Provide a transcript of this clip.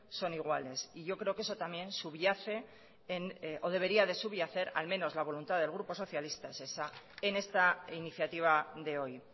son iguales y yo creo que eso también subyace o debería de subyacer al menos la voluntad del grupo socialista es esa en esta iniciativa de hoy